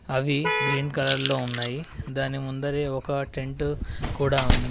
అవి green colour లో ఉన్నాయి దాని ముందరే ఒక టెంటు కూడా ఉంది.